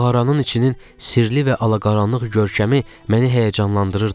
Mağaranın içinin sirli və alaqaranlıq görkəmi məni həyəcanlandırırdı.